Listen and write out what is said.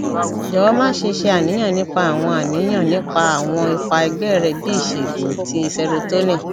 jọwọ maṣe ṣe aniyan nipa awọn aniyan nipa awọn ipa ẹgbẹ rẹ bi iṣegun ti serotonin